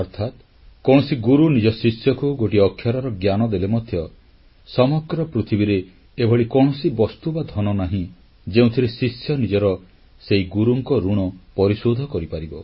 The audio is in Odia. ଅର୍ଥାତ୍ କୌଣସି ଗୁରୁ ନିଜ ଶିଷ୍ୟକୁ ଗୋଟିଏ ଅକ୍ଷରର ଜ୍ଞାନ ଦେଲେ ମଧ୍ୟ ସମଗ୍ର ପୃଥିବୀରେ ଏଭଳି କୌଣସି ବସ୍ତୁ ବା ଧନ ନାହିଁ ଯେଉଁଥିରେ ଶିଷ୍ୟ ନିଜର ସେହି ଗୁରୁଙ୍କ ଋଣ ପରିଶୋଧ କରିପାରିବ